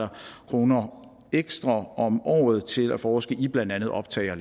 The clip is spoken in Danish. kroner ekstra om året til at forske i blandt andet optag og